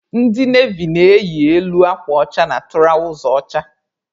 Ndị navy na-eyi elu akwa ọcha na tụrawza ọcha.